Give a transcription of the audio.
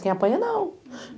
Quem apanha, não.